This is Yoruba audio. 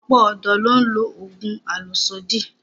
Ọ̀pọ̀ ọ̀dọ́ ló ń lo oògùn àlòsódì